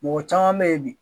mɔgɔ caman be yen bi